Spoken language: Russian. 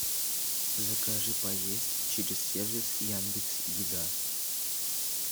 закажи поесть через сервис яндекс еда